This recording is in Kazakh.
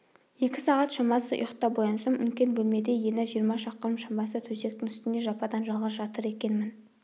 екі сағат шамасы ұйықтап оянсам үлкен бөлмеде ені жиырма шақырым шамасы төсектің үстінде жападан-жалғыз жатыр екенмін